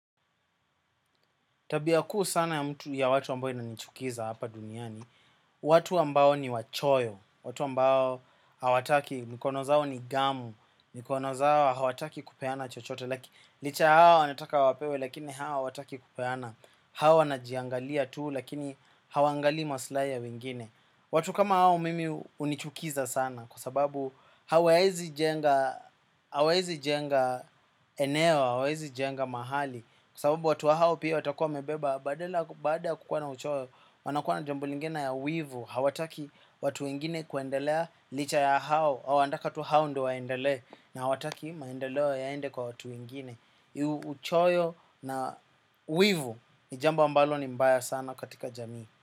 Tabia kuu sana ya mtu ya watu ambao inanichukiza hapa duniani, watu ambao ni wachoyo, watu ambao hawataki, mikono zao ni gamu, mikono zao hawataki kupeana chochote, laki licha ya hao wanataka wapewe lakini hao hawataki kupeana, hao wanajiangalia tu lakini hawaangalii maslahi ya wengine. Watu kama hao mimi hunichukiza sana kwa sababu hawaezi jenga eneo, hawaezi jenga mahali. Kwacsababu watu hao pia watakuwa wamebeba baada ya kukua na uchoyo wanakuwa na jambo lingine ya wivu. Hawataki watu wengine kuendelea licha ya hao wanataka tu hao ndo waendelee na hawati maendeleo yaende kwa watu wengine. Uchoyo na wivu ni jambo ambalo ni mbaya sana katika jamii.